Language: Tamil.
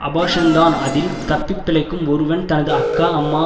அபார்ஷன்தான் அதில் தப்பிப்பிழைக்கும் ஒருவன் தனது அக்கா அம்மா